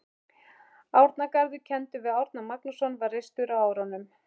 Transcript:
Árnagarður, kenndur við Árna Magnússon, var reistur á árunum